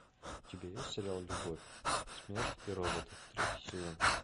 у тебя есть сериал любовь смерть и роботы третий сезон